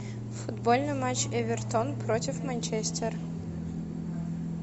футбольный матч эвертон против манчестер